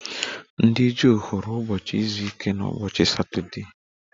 Ndị Juu hụrụ ụbọchị izu ike n'ụbọchị Satọdee